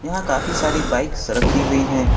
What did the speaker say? काफी सारी बाइक्स से रखी हुई है।